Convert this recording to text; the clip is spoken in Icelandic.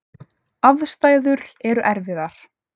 Aðstæður eru erfiðar.